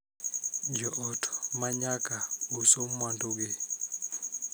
Jo ot ma nyaka uso mwandugi